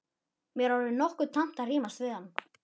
Mér var orðið nokkuð tamt að rífast við hann.